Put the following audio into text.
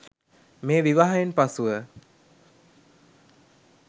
මේ විවාහයෙන් පසුව